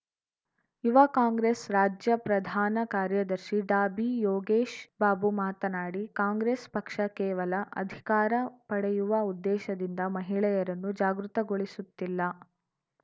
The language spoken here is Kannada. ಯುವ ಕಾಂಗ್ರೆಸ್‌ ರಾಜ್ಯ ಪ್ರಧಾನ ಕಾರ್ಯದರ್ಶಿ ಡಾಬಿಯೋಗೇಶ್‌ಬಾಬು ಮಾತನಾಡಿ ಕಾಂಗ್ರೆಸ್‌ ಪಕ್ಷ ಕೇವಲ ಅಧಿಕಾರ ಪಡೆಯುವ ಉದ್ದೇಶದಿಂದ ಮಹಿಳೆಯರನ್ನು ಜಾಗೃತಗೊಳಿಸುತ್ತಿಲ್ಲ